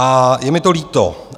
A je mi to líto.